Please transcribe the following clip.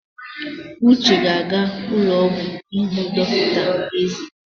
Uche ga-aga ụlọ ọgwụ ịhụ dọkịta eze.